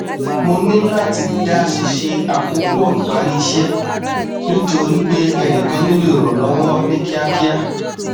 mo níláti dá ṣíṣe àkópọ ìparí iṣẹ nítorí pé ẹnìkan nílò ìrànlọwọ ní kíákíá